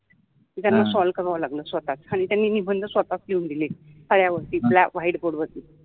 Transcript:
त्याना सॉल्व कराव लागल स्वताच आणी त्यानि निबंध स्वताच लिहुन दिले फळ्यावर white board वरति